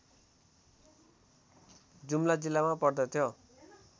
जुम्ला जिल्लामा पर्दथ्यो